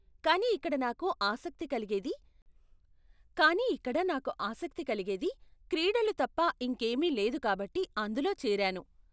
కానీ ఇక్కడ నాకు ఆసక్తి కలిగేది కానీ ఇక్కడ నాకు ఆసక్తి కలిగేది క్రీడలు తప్ప ఇంకేమీ లేదు కాబట్టి అందులో చేరాను.